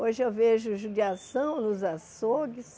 Hoje eu vejo judiação nos açougues.